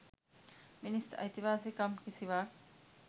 මිනිස් අයිතිවාසිකම් කිසිවක්